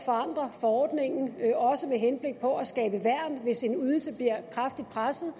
forandre forordningen også med henblik på at skabe værn hvis en ydelse bliver kraftigt presset